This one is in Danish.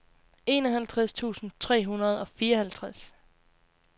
enoghalvtreds tusind tre hundrede og fireoghalvtreds